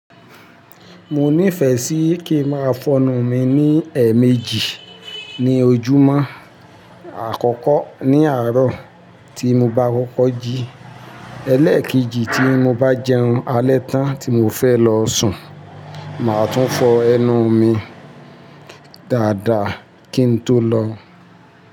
Mo nífẹ̀ẹ́ sí kí n máa fọnu mi ní ẹ́ẹ̀mejì ní ojúmọ́. Àkọ́kọ́ ní àárọ̀ tí mo bá kọ́kọ́ jí, ẹlẹ́ẹ̀kejì tí mo bá jẹun alẹ́ tán tí mo fẹ́ lọ sùn, màá tún fọ ẹnu mi dáadáa kí n tó lọ.